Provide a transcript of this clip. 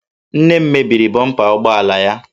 Nne m mebiri bọmpa ụgbọ ala ya